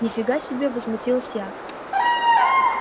нифига себе возмутилась я